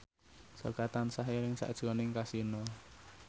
Jaka tansah eling sakjroning Kasino